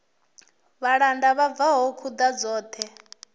vhalanda vho bva khuḓa dzoṱhe